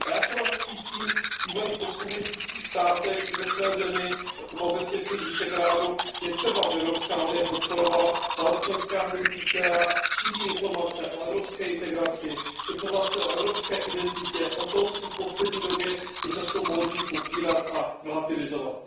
A já třeba cítím v bývalých postkomunistických státech i ve své zemi nebo v zemích Visegrádu, že je třeba, aby Evropská unie podporovala ta občanská hnutí, která šíří informace o evropské integraci, informace o evropské identitě, o tom, co v poslední době je často módní popírat a relativizovat.